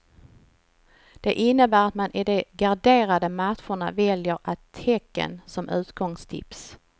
Det innebär att man i de garderade matcherna väljer ett tecken som utgångstips.